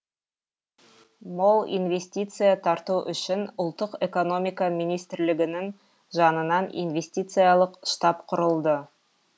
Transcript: мол инвестиция тарту үшін ұлттық экономика министрлігінің жанынан инвестициялық штаб құрылды